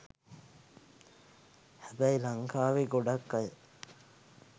හැබැයි ලංකාවේ ගොඩක් අය